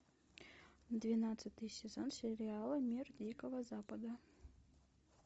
двенадцатый сезон сериала мир дикого запада